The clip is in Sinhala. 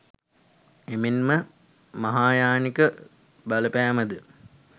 එමෙන්ම මහායානික බලපෑමද